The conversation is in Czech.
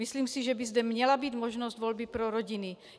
Myslím si, že by zde měla být možnost volby pro rodiny.